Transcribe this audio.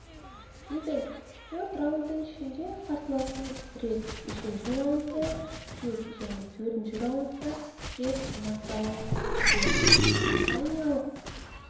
юбенк төрт раундтың ішінде қарсыласын рет үшінші раундта рет және төртінші раундта рет нокдаунға жіберді британиялық